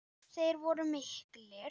Þeir voru miklir.